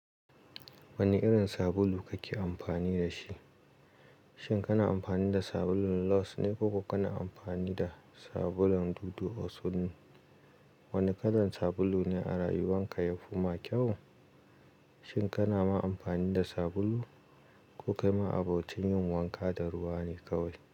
Wane irin sabulu kake amfani da shi? Shin kana amfani da sabulun Lush ne ko kuma kana amfani da sabulun Dudu Osun ne? Wane kalan sabulu ne a rayuwarka yafi maka kyau? Shin kana ma amfani da sabulu ko kai ma'abocin yin wanka da ruwa ne kawai?